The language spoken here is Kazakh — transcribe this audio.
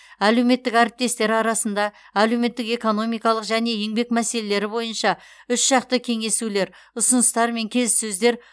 әлеуметтік әріптестер арасында әлеуметтік экономикалық және еңбек мәселелері бойынша үшжақты кеңесулер ұсыныстар мен келіссөздер